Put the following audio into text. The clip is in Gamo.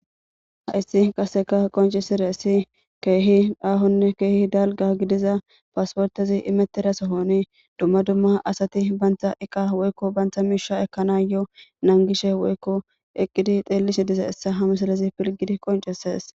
Hayisi qaseka qoncisizayisi kehi ahonne kehi daliga gidiza pasiportezi imetida sohuani dumma dumma asati banta iqa woyikko banta miishsha ekanayo nanigishe woyikko eqidi xelishe dizayisa ha missilezi filigidi qoncises.